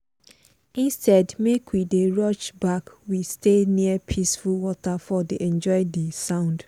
instead make we dey rush back we stay near peaceful waterfall dey enjoy di sound.